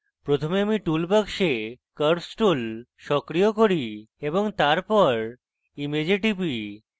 প্রথমে আমি tool box curves tool সক্রিয় করি এবং তারপর image টিপি